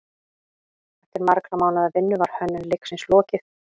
Eftir margra mánaða vinnu var hönnun leiksins lokið.